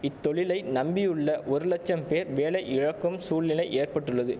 இத்தொழிலை நம்பியுள்ள ஒரு லட்சம் பேர் வேலை இழக்கும் சூழ்நிலை ஏற்பட்டுள்ளது